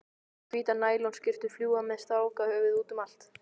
Hvítar nælonskyrtur fljúga með strákahöfuð útum allt.